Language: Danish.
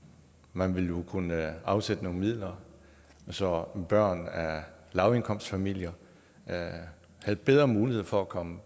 man ville jo kunne afsætte nogle midler så børn af lavindkomstfamilier havde bedre mulighed for at komme